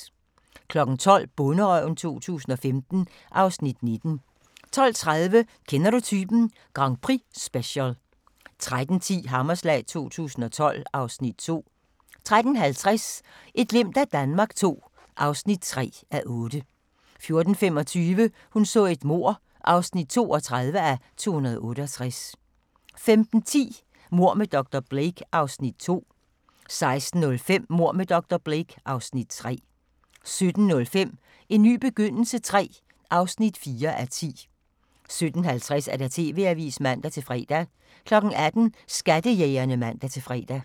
12:00: Bonderøven 2015 (Afs. 19) 12:30: Kender du typen? Grand Prix-special 13:10: Hammerslag 2012 (Afs. 2) 13:50: Et glimt af Danmark II (3:8) 14:25: Hun så et mord (32:268) 15:10: Mord med dr. Blake (Afs. 2) 16:05: Mord med dr. Blake (Afs. 3) 17:05: En ny begyndelse III (4:10) 17:50: TV-avisen (man-fre) 18:00: Skattejægerne (man-fre)